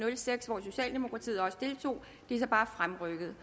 og seks hvor socialdemokratiet også deltog det er så bare fremrykket